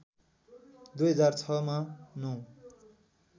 २००६ मा ९